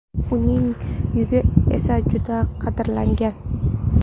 Uning yungi esa juda qadrlangan.